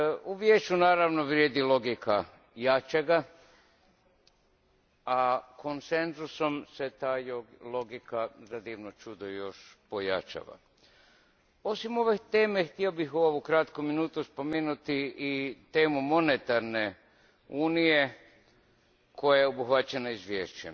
U Vijeću naravno vrijedi logika jačega, a konsenzusom se ta logika, za divno čudo, još pojačava. Osim ove teme htio bih u ovoj kratkoj minuti spomenuti temu monetarne unije koja je obuhvaćena izvješćem.